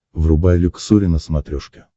врубай люксори на смотрешке